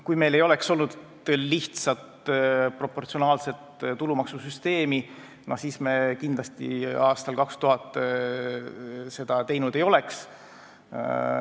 Kui meil ei oleks olnud lihtsat proportsionaalset tulumaksusüsteemi, siis me kindlasti aastal 2000 seda teinud ei oleks.